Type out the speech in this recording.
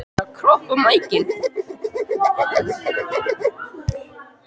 Sigvalda, spilaðu lagið „Sódóma“.